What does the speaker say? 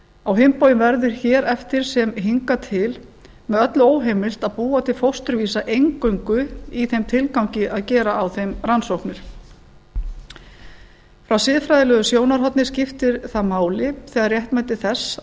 á hinn bóginn verður hér eftir sem hingað til með öllu óheimilt að búa til fósturvísa eingöngu í þeim tilgangi að gera á þeim rannsóknir frá siðfræðilegu sjónarhorni skiptir það máli þegar réttmæti þess